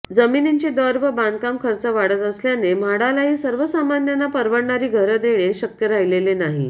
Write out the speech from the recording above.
जमिनींचे दर व बांधकाम खर्च वाढत असल्याने म्हाडालाही सर्वसामान्यांना परवडणारी घरे देणे शक्य राहिलेले नाही